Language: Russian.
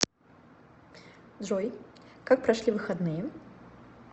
джой как прошли выходные